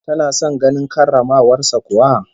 Tana son ganin karramawar sa kuwa?